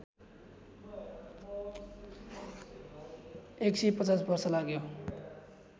१५० वर्ष लाग्यो